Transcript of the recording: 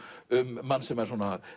um mann sem er